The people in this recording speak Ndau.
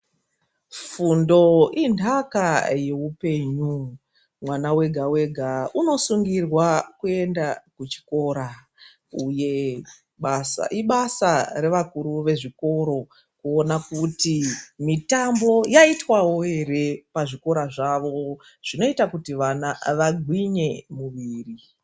Fundo inthaka yeupenyu. Mwana wega wega unosungirwa kuenda kuchikora. Uye ibasa revakuru vezvikora kuona kuti mitambo yaitwawo ere pazvikora zvavo zvinoita kuti vana vagwinye.